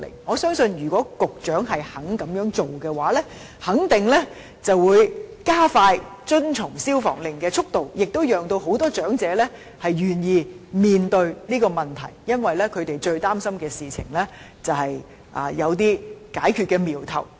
我相信如果當局願意這樣做的話，肯定會加快業主遵從命令的速度，亦會令很多長者願意面對這個問題，因為他們最擔心的事情有了解決的瞄頭。